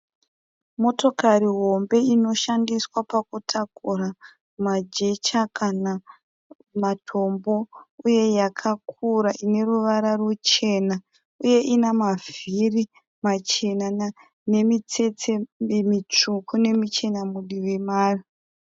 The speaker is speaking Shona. Motokari hombe inoshandiswa pakutakura majecha kana matombo uye yakakura. Ine ruvara ruchena uye ina mavhiri machena nemitsetse mitsvuku nemichena mudivi mayo.